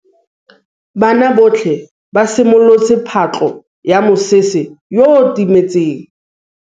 Banna botlhê ba simolotse patlô ya mosetsana yo o timetseng.